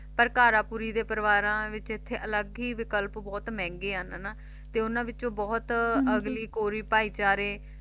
ਪਰ ਘਾਰਾਪੁਰੀ ਦੇ ਪਰਿਵਾਰਾਂ ਵਿਚ ਇਥੇ ਅਲੱਗ ਹੀ ਵਿਕਲਪ ਬਹੁਤ ਮਹਿੰਗੇ ਹਨ ਹਨਾਂ ਤੇ ਓਹਨਾ ਵਿਚ ਬਹੁਤ ਅਗਲੀ ਕੋਰੀ ਭਾਈਚਾਰੇ